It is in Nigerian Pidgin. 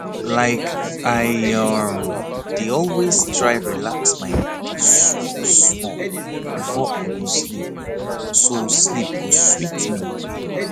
like i um dey always try relax my body smallsmall before i go sleep so sleep go sweet me